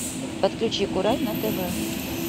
подключи курай на тв